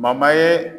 ye